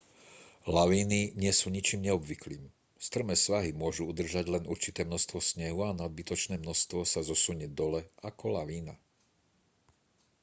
lavíny nie sú ničím neobvyklým strmé svahy môžu udržať len určité množstvo snehu a nadbytočné množstvo sa zosunie dole ako lavína